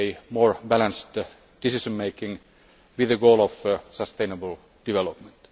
more balanced decision making with the goal of sustainable development.